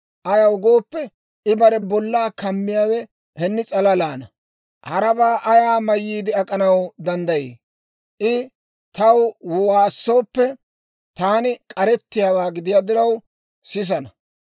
ayaw gooppe, I bare bollaa kammiyaawe henni s'alalaana; harabaa ayaa mayyiide ak'anaw danddayii? I taw waassooppe, taani k'arettiyaawaa gidiyaa diraw, sisana.